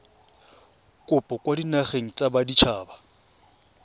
kopo kwa dinageng tsa baditshaba